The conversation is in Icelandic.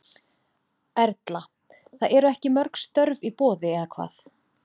Erla: Það eru ekki mörg störf í boði eða hvað?